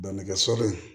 Bɛnɛkɛ sɔli